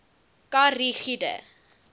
kha ri gude